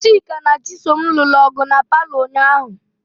Chika na Chisom lụrụ ọgụ na paalọ ụnyaahụ ahụ.